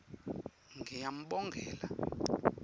ngiyambongela